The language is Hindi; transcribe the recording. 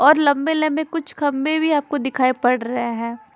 और लम्बे लम्बे कुछ खम्बे भी आपको दिखाई पड़ रहे हैं।